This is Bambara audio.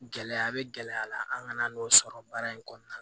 Gɛlɛya be gɛlɛya la an ŋan'o sɔrɔ baara in kɔnɔna na